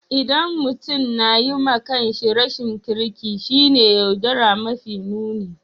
ldan mutum na yi ma kan shi rashin kirki shine yaudara mafi nuni.